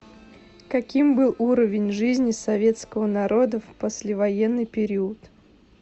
каким был уровень жизни советского народа в послевоенный период